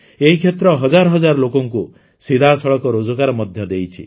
ଏହି କ୍ଷେତ୍ର ହଜାର ହଜାର ଲୋକଙ୍କୁ ସିଧାସଳଖ ରୋଜଗାର ମଧ୍ୟ ଦେଇଛି